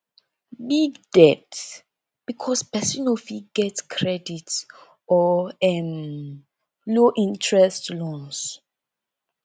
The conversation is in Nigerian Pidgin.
big debt because person no fit get credit or um low interest loans